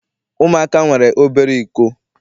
Ụmụaka nwere obere iko.